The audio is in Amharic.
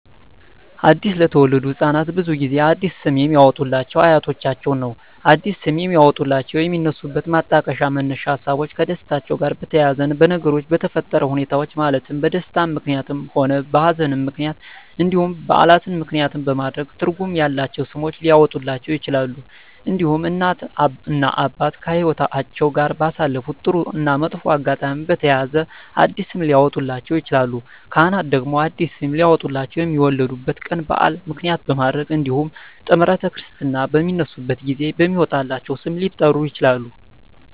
አዲስ ለተወለዱ ህፃናት ብዙውን ጊዜ አዲስ ስም የሚያወጡሏቸው አያቶቻቸውን ነው አዲስ ስም የሚያወጧላቸው የሚነሱበት ማጣቀሻ መነሻ ሀሳቦች ከደስታቸው ጋር በተያያዘ በነገሮች በተፈጠረ ሁኔታዎች ማለትም በደስታም ምክንያትም ሆነ በሀዘንም ምክንያት እንዲሁም በዓላትን ምክንያትም በማድረግ ትርጉም ያላቸው ስሞች ሊያወጡላቸው ይችላሉ። እንዲሁም እናት እና አባት ከህይወትአቸው ጋር ባሳለፉት ጥሩ እና መጥፎ አጋጣሚ በተያያዘ አዲስ ስም ሊያወጡላቸው ይችላሉ። ካህናት ደግሞ አዲስ ስም ሊያወጡላቸው የሚወለዱበት ቀን በዓል ምክንያት በማድረግ እንዲሁም ጥምረተ ክርስትና በሚነሱበት ጊዜ በሚወጣላቸው ስም ሊጠሩ ይችላሉ።